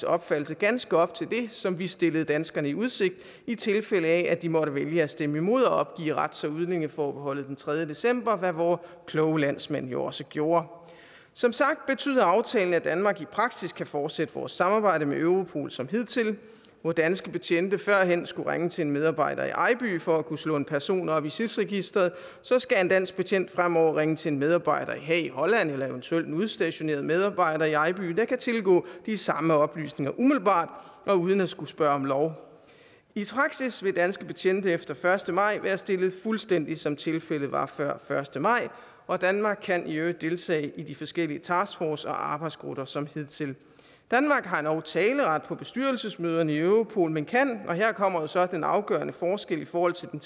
opfattelse ganske op til det som vi stillede danskerne i udsigt i tilfælde af at de måtte vælge at stemme imod at opgive rets og udlændingeforbeholdet den tredje december hvad vore kloge landsmænd jo også gjorde som sagt betyder aftalen at danmark i praksis kan fortsætte vores samarbejde med europol som hidtil hvor danske betjente førhen skulle ringe til en medarbejder i ejby for at kunne slå en person op i sis registeret skal en dansk betjent fremover ringe til en medarbejder i haag i holland eller eventuelt en udstationeret medarbejder i ejby der kan tilgå de samme oplysninger umiddelbart og uden at skulle spørge om lov i praksis vil danske betjente efter første maj være stillet fuldstændig som tilfældet var før første maj og danmark kan i øvrigt deltage i de forskellige taskforce og arbejdsgrupper som hidtil danmark har endog taleret på bestyrelsesmøderne i europol men kan og her kommer så den afgørende forskel i forhold til den